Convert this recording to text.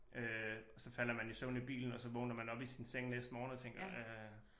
Øh og så falder man i søvn i bilen og så vågner man op i sin seng næste morgen og tænker øh